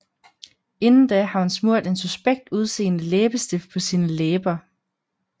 Inden da har hun smurt en suspekt udseende læbestift på sine læber